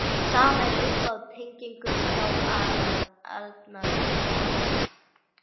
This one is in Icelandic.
Sama er uppi á teningnum hjá Arnaldi